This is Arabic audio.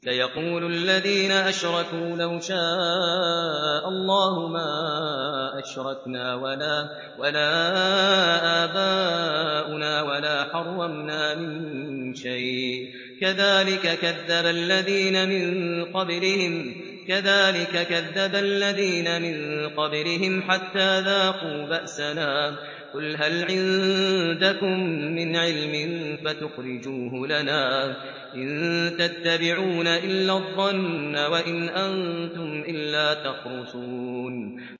سَيَقُولُ الَّذِينَ أَشْرَكُوا لَوْ شَاءَ اللَّهُ مَا أَشْرَكْنَا وَلَا آبَاؤُنَا وَلَا حَرَّمْنَا مِن شَيْءٍ ۚ كَذَٰلِكَ كَذَّبَ الَّذِينَ مِن قَبْلِهِمْ حَتَّىٰ ذَاقُوا بَأْسَنَا ۗ قُلْ هَلْ عِندَكُم مِّنْ عِلْمٍ فَتُخْرِجُوهُ لَنَا ۖ إِن تَتَّبِعُونَ إِلَّا الظَّنَّ وَإِنْ أَنتُمْ إِلَّا تَخْرُصُونَ